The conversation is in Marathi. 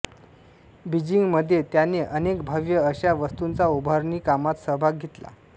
बिजींग मध्ये त्याने अनेक भव्य अशा वास्तूंचा उभारणी कामात सहभाग घेतला